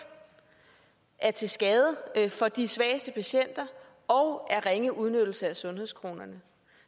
er til skade for de svageste patienter og er ringe udnyttelse af sundhedskronerne